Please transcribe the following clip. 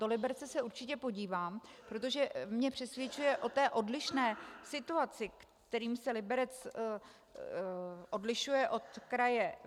Do Liberce se určitě podívám, protože mě přesvědčuje o té odlišné situaci, kterou se Liberec odlišuje od kraje